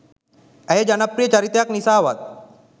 ඇය ජනප්‍රිය චරිතයක් නිසාවත්